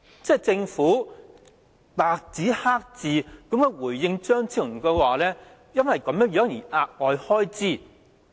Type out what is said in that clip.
政府白紙黑字回應張超雄議員，說會因為這樣而有額外開支。